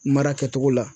Mara kɛcogo la